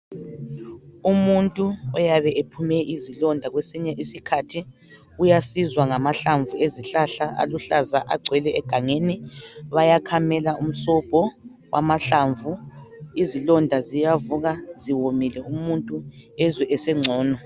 Umuntu oyabe ephume izilonda kwesinye isikhathi uyasizwa ngamahlamvu ezihlahla aluhlaza agcwele egangeni. Bayakhamela umsobho wamahlamvu izilonda ziyavuka ziwomile umuntu ezwe esengcono.